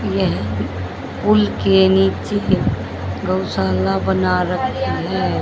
यह पुल के नीचे गौशाला बना रखी है।